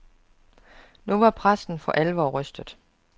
Nu var præsten for alvor rystet.